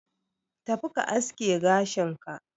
Tafi ka aske gashin ka